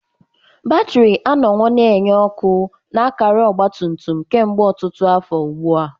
Batrị anọwo na-enye ọkụ na akara ọgba tum tum kemgbe ọtụtụ afọ ugbu a.